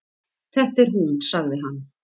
Þetta er hún sagði hann.